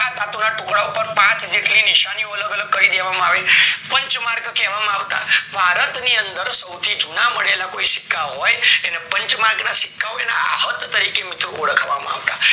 ટુકડા ઉપર પાચ જેટલી નિશાની અલગ અલગ કાય દેવામાં આવી પંચ્માંર્ક કેવા માં આવતા ભારત ની અંદર સવથી જુના મળેલા જે સિક્કા હોય એને પચ્માંર્ક ના સિક્કાઓ અહાત તરીકે ઓળખવામાં આવતા